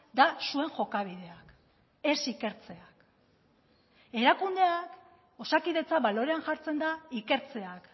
da zuen jokabideak ez ikertzeak erakundea osakidetza balorean jartzen da ikertzeak